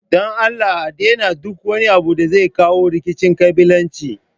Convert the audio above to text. don Allah a daina duk wani abu da zai kawo rikicin ƙabilanci.